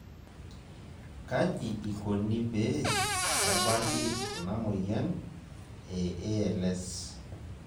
Kaji ikoni pee ebaki ena moyian e ALS?